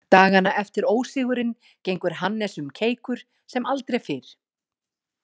Dagana eftir ósigurinn gengur Hannes um keikur sem aldrei fyrr.